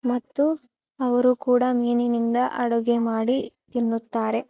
ಮತ್ತು ಅವರು ಕೂಡ ಮೀನಿನಿಂದ ಅಡಿಗೆ ಮಾಡಿ ತಿನ್ನುತ್ತಾರೆ